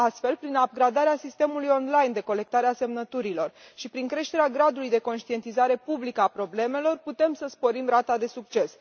Astfel, prin upgradarea sistemului online de colectare a semnăturilor și prin creșterea gradului de conștientizare publică a problemelor, putem să sporim rata de succes.